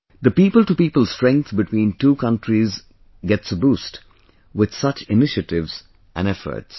The people to people strength between two countries gets a boost with such initiatives and efforts